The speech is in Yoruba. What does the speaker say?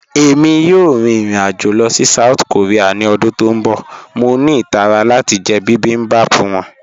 Ẹ̀mi yòò rín irin-ajo lọ sí South Korea ni ọdún tó n bọ̀, mọ̀ ní itàrà láti jẹ̀ bibimbap wọn.